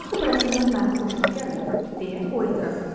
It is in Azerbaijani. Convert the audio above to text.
Axı bu rəsmlər mənim xoşuma gəlir, deyə o etiraz etdi.